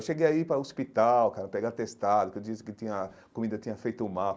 Eu cheguei a ir para o hospital, cara, pegar atestado, porque eu disse que tinha a comida tinha feito mal.